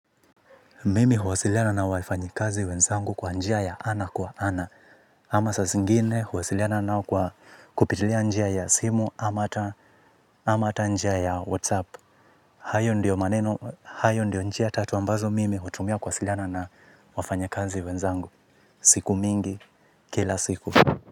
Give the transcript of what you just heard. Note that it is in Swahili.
Mimi huwasiliana na wafanyikazi wenzangu kwa njia ya ana kwa ana. Ama sasingine huwasiliana nao kwa kupitilia njia ya simu ama ata njia ya whatsapp. Hayo ndio maneno, hayo ndio njia tatu ambazo mimi hutumia huwasiliana na wafanyekazi wenzangu. Siku mingi, kila siku.